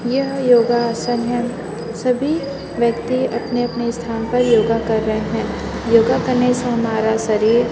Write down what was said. यह योगासन है सभी व्यक्ति अपने अपने स्थान पर योग कर रहे हैं योगा करने से हमारा शरीर--